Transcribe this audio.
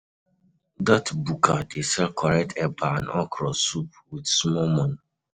Dat buka dey sell correct eba and okro soup wit small moni.